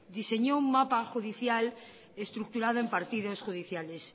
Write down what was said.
diseñó un mapa judicial estructurado en partidos judiciales